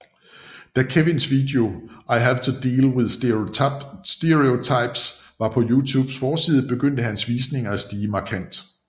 Da Kevins video I Have to Deal With Stereotypes var på YouTubes forside begyndte hans visninger at stige markant